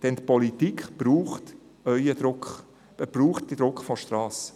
Denn die Politik braucht euren Druck, sie braucht den Druck von der Strasse!